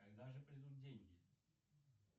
когда же придут деньги